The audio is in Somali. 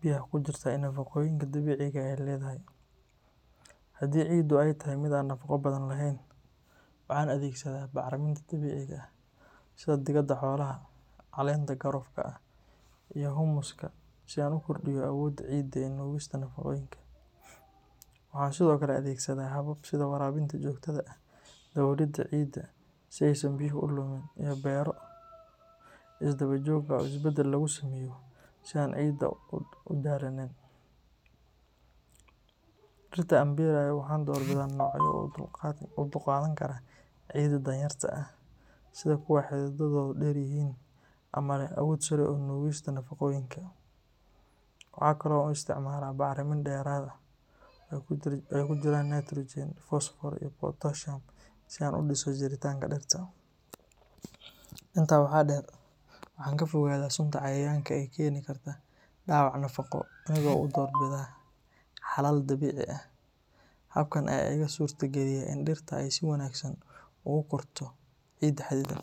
biyaha ku jirta iyo nafaqooyinka dabiiciga ah ee ay leedahay. Haddii ciiddu ay tahay mid aan nafaqo badan lahayn, waxaan adeegsadaa bacriminta dabiiciga ah sida digada xoolaha, caleenta qaroofka ah, iyo humus-ka si aan u kordhiyo awoodda ciidda ee nuugista nafaqooyinka. Waxaan sidoo kale adeegsadaa habab sida waraabinta joogtada ah, daboolidda ciidda si aysan biyuhu u lumin, iyo beero isdaba joog ah oo isbeddel lagu sameeyo si aan ciidda u daalinin. Dhirta aan beerayo waxaan doorbidaa noocyo u dulqaadan kara ciidda danyarta ah, sida kuwa xididadoodu dheer yihiin ama leh awood sare oo nuugista nafaqooyinka. Waxa kale oo aan isticmaalaa bacrimin dheeraad ah oo ay ku jiraan nitrogen, fosfoor iyo potassium si aan u dhiso jiritaanka dhirta. Intaa waxaa dheer, waxaan ka fogaadaa sunta cayayaanka ee keeni karta dhaawac nafaqo, anigoo u doorbida xalal dabiici ah. Habkan ayaa iiga suurtageliya in dhirta ay si wanaagsan ugu korto ciida xaddidan.